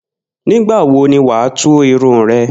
Nígbà wo ni wà á tú irun re̩?